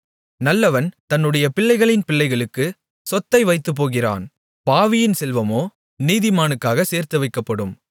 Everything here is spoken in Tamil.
நல்லவன் தன்னுடைய பிள்ளைகளின் பிள்ளைகளுக்கு சொத்தை வைத்துப்போகிறான் பாவியின் செல்வமோ நீதிமானுக்காகச் சேர்த்துவைக்கப்படும்